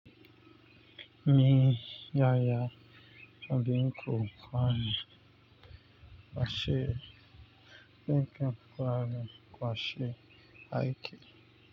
Ni yaya na bikin kwamana kwashe aiki.